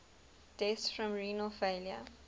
deaths from renal failure